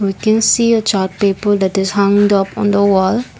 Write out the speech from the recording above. we can see a chart paper that is hung up on the wall.